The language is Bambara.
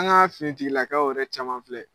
An ka finitigilakaw yɛrɛ caman filɛ